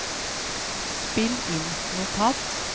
spill inn notat